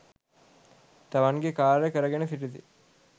තමන්ගේ කාර්ය කරගෙන සිටිති.